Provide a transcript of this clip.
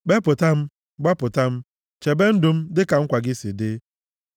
Kpepụta m, gbapụta m, chebe ndụ m dịka nkwa gị si dị.